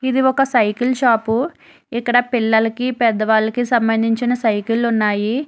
ఇది ఒక cycle shop ఇక్కడ పిల్లలకి పెద్దవాళ్ళకి సంబంధించిన సైకిల్లు ఉన్నాయి.